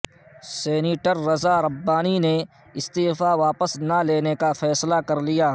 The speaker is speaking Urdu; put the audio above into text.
سینیٹر رضا ربانی نے استعفی واپس نہ لینے کا فیصلہ کر لیا